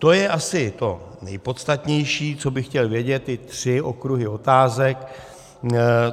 To je asi to nejpodstatnější, co bych chtěl vědět, ty tři okruhy otázek.